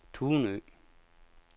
Tunø